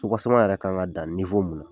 Tɔgɔ sɛbɛn yɛrɛ kan ka dan mun na